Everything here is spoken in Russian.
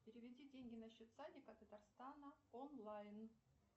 переведи деньги на счет садика татарстана онлайн